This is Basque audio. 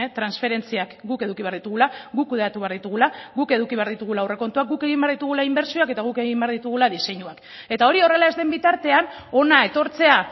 transferentziak guk eduki behar ditugula guk kudeatu behar ditugula guk eduki behar ditugula aurrekontuak guk egin behar ditugula inbertsioak eta guk egin behar ditugula diseinuak eta hori horrela ez den bitartean hona etortzea